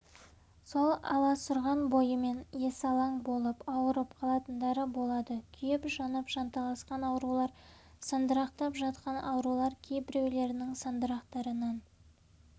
сол аласұрған бойымен есалаң болып ауырып қалатындары болады күйіп-жанып жанталасқан аурулар сандырақтап жатқан аурулар кейбіреулерінің сандырақтарынан